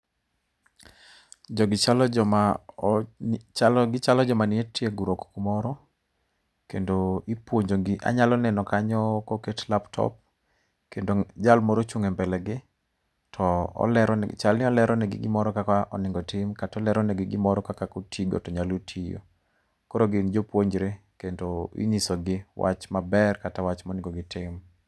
Jogi chalo joma gichalo joma nie tiegruok kumoro kendo ipuonjogi. Inyalo neno kanyo koket laptop, kendo jal moro ochung' e mbelegi to olero chalni oleronegi gimoro kaka onego otim kata oleronegi kaka kotigo to nyalo tiyo. Koro gin jopuonjre kendo ing’iso gi wach maber kata wach monego gitim.